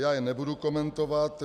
Já je nebudu komentovat.